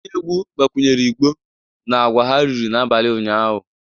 Onye egwu gbakwunyere igbo na agwa ha riri n'abalị ụnyahụ